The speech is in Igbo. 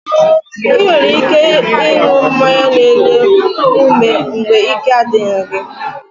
Ị nwere ike ịṅụ mmanya n'enye ume mgbe ike a dịghị gị